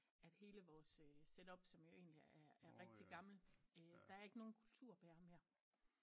At hele vores setup som jo endeligt er rigtig gammel der er ikke nogen kulturbærer mere